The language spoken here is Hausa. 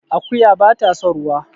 Akuya bata son ruwa